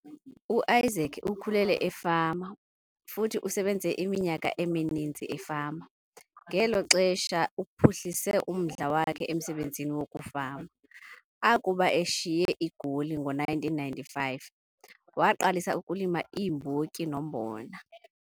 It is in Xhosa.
UIsaac ukhule efama futhi usebenze iminyaka emininzi efama, ngelo xesha uphuhlise umdla wakhe emsebenzini wokufama. Akuba eshiye iGoli ngo-1995, waqalisa ukulima iimbotyi nombona.